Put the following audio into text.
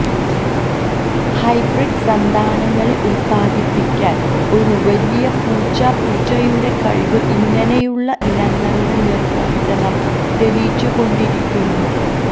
hybrid സന്താനങ്ങളെ ഉത്പാദിപ്പിക്കാൻ ഒരു വലിയ പൂച്ച പൂച്ചയുടെ കഴിവ് ഇങ്ങനെയുള്ള ഇനങ്ങളുടെ നിർവചനം തെളിച്ചുകൊണ്ടിരിക്കുന്നു